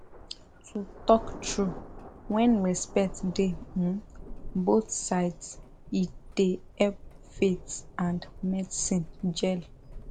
to talk true when respect dey um both sides e dey help faith and medicine jell